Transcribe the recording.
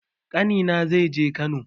Ƙani na zai je Kano